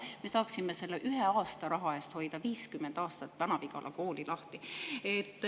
Me saaksime selle ühe aasta raha eest hoida 50 aastat Vana-Vigala kooli lahti.